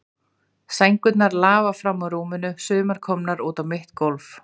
Sængurnar lafa fram úr rúmunum, sumar komnar út á mitt gólf.